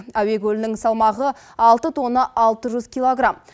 әуе көлігінің салмағы алты тонна алты жүз килограмм